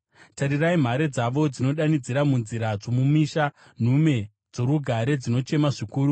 Tarirai, mhare dzavo dzinodanidzira munzira dzomumisha; nhume dzorugare dzinochema zvikuru.